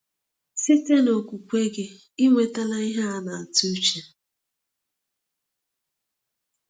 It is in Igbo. Site n’okwukwe gị, ị nwetala ihe a a na-atụ uche.